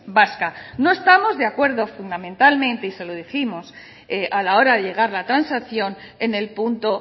vasca no estamos de acuerdo fundamentalmente y se lo dijimos a la hora de llegar la transacción en el punto